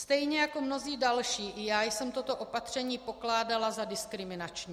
Stejně jako mnozí další i já jsem toto opatření pokládala za diskriminační.